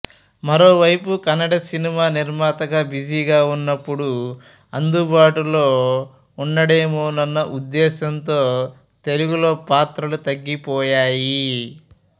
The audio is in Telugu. మరోవైపు కన్నడ సినిమా నిర్మాతగా బిజీగా ఉన్నప్పుడు అందుబాటులో ఉండడేమోనన్న ఉద్దేశంతో తెలుగులో పాత్రలు తగ్గిపోయాయి